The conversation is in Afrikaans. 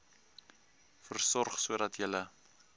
versorg sodat julle